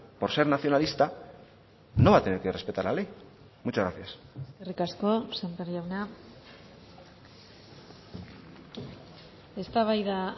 por ser nacionalista no va a tener que respetar la ley muchas gracias eskerrik asko sémper jauna eztabaida